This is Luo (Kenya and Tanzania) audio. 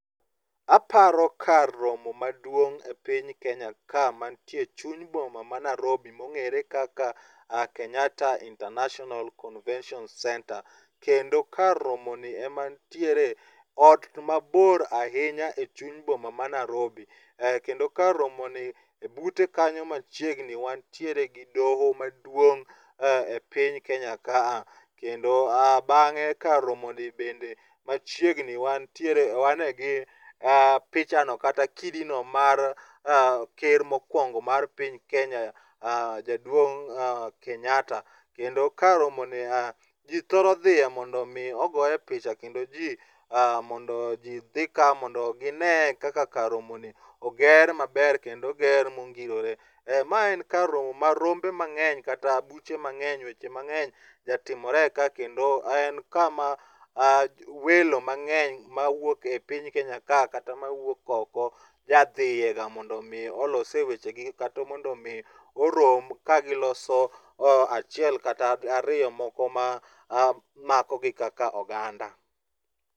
Aparo kar romo maduong' e piny kenya ka manitie e chuny boma ma Narobi mong'ere kaka Kenyatta International Convention Centre. Kendo kar romoni ema nitiere ot mabor ahinya e chuny boma ma Narobi, kendo kar romoni bute kanyo machiegni wantiere gi doho maduong' e piny Kenya kaa. Kendo bang'e kar romoni bende machiegni wan gi pichano kata kidino mar ker mokwongo mar piny Kenya jaduong' Kenyatta. Kendo kar romoni ji thoro dhiye mondo omi ogoye picha kendo ji mondo ji dhi ka mondo ginene kaka kar romoni oger maber kendo oger mongirore. Ma en kar romo ma ,rombe mang'eny kata buche mang'eny weche mang'eny ja timore ka kendo en kama welo mang'eny mawuok e i piny Kenya ka kata mawuok oko jadhiyega mondo olosye wechegi kata mondo omi orom ka giloso achiel kata ariyo moko ma makogi kaka oganda.